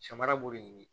Samara b'o de